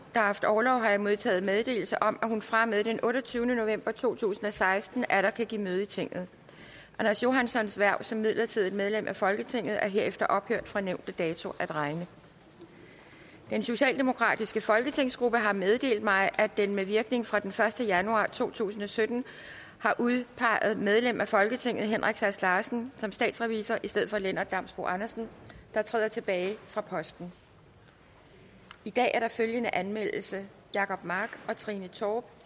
haft orlov har jeg modtaget meddelelse om at hun fra og med den otteogtyvende november to tusind og seksten atter kan give møde i tinget anders johanssons hverv som midlertidigt medlem af folketinget er herefter ophørt fra nævnte dato at regne den socialdemokratiske folketingsgruppe har meddelt mig at den med virkning fra den første januar to tusind og sytten har udpeget medlem af folketinget henrik sass larsen som statsrevisor i stedet for lennart damsbo andersen der træder tilbage fra posten i dag er der følgende anmeldelse jacob mark og trine torp